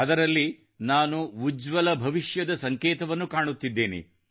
ಅದರಲ್ಲಿ ನಾನು ಉಜ್ವಲ ಭವಿಷ್ಯದ ಸಂಕೇತವನ್ನು ಕಾಣುತ್ತಿದ್ದೇನೆ